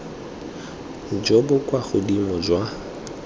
jo bo kwa godimo jwa